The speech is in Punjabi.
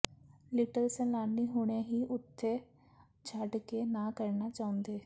ਲਿਟਲ ਸੈਲਾਨੀ ਹੁਣੇ ਹੀ ਉਥੇ ਛੱਡ ਕੇ ਨਾ ਕਰਨਾ ਚਾਹੁੰਦੇ